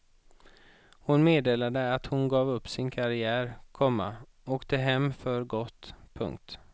Hon meddelade att hon gav upp sin karriär, komma åkte hem för gott. punkt